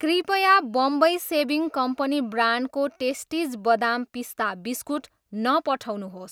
कृपया Bambai shaving company ब्रान्डको Tasties बदाम पिस्ता बिस्कुट नपठाउनुहोस्।